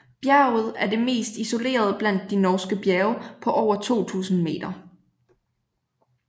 Bjerget er det mest isolerede blandt de norske bjerge på over 2000 m